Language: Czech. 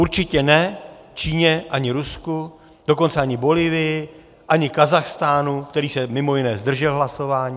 Určitě ne Číně, ani Rusku, dokonce ani Bolívii, ani Kazachstánu, který se mimo jiné zdržel hlasování.